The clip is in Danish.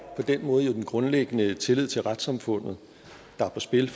på den måde den grundlæggende tillid til retssamfundet der er på spil